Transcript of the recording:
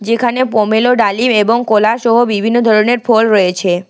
যেখানে বোমেলো ডালিম এবং কোলাসহ বিভিন্ন ধরনের ফল রয়েছে।